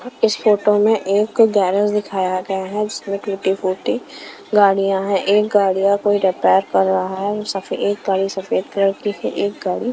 इस फोटो में एक गैरेज दिखाया गया है जिसमें टूटी-फूटी गाड़ियाँं हैंएक गाड़ियाँं कोई रिपेयर कर रहा है। सफे-एक गाड़ी सफेद कलर की है एक गाड़ी--